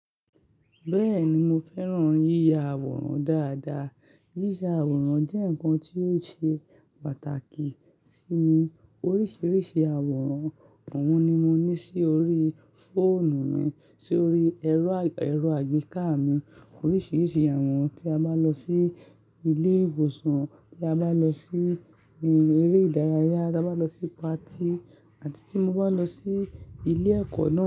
Bẹ́ẹ̀ni mo fẹ́ràn yíya àwòrán dáadáa. Yíya àwòrán jẹ́ nǹkan tó ṣe pàtàkì sí mi. Oríṣiríṣi àwòrán, ohun ni mo ní sórí fóònù mi, sórí ẹ̀rọ àgbéká mi. Oríṣiríṣi àwọran, tí a bá lọ sí ilé ìwòsàn, tí a bá lọ sí eré ìdárayá, tí a bá lọ sí patí àti tí mo bá lọ sí ilé ẹ̀kọ́